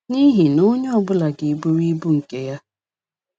N’ihi na onye ọ bụla ga - eburu ibu nke ya.